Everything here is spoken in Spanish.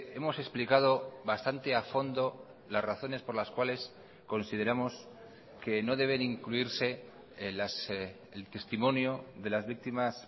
hemos explicado bastante a fondo las razones por las cuales consideramos que no deben incluirse el testimonio de las víctimas